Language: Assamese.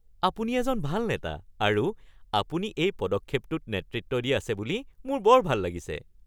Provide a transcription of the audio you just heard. আপুনি এজন ভাল নেতা আৰু আপুনি এই পদক্ষেপটোত নেতৃত্ব দি আছে বুলি মোৰ বৰ ভাল লাগিছে।